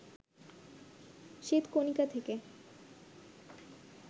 শ্বেতকণিকা থেকে